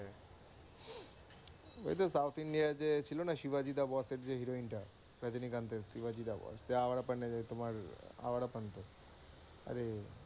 ওই তো south india ই যে ছিল না শিবাজী দা বসের যে heroine টা, রজনীকান্তের শিবাজী দা বস সেই আওয়ারাপন তোমার আওয়ারাপানটা, আরে,